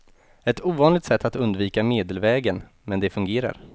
Ett ovanligt sätt att undvika medelvägen, men det fungerar.